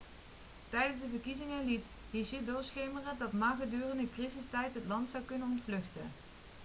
tijdens de verkiezingen liet hsieh doorschemeren dat ma gedurende een crisistijd het land zou kunnen ontvluchten